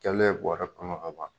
Kɛlɛn bɔrɛ kɔnɔ ka ban.